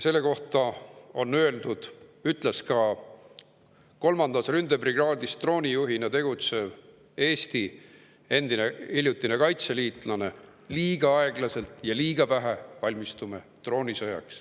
Selle kohta on öeldud ja ütles ka kolmandas ründebrigaadis droonijuhina tegutsev Eesti hiljutine kaitseliitlane, et liiga aeglaselt ja liiga vähe valmistume droonisõjaks.